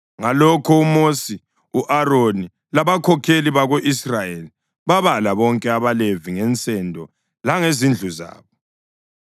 Ngalokho uMosi, u-Aroni labakhokheli bako-Israyeli babala bonke abaLevi ngensendo langezindlu zabo.